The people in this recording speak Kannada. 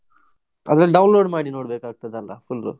ಅದರಲ್ಲಿ download ಮಾಡಿ ನೋಡ್ಬೇಕ್ ಆಗ್ತದಲ್ಲ full ಉ.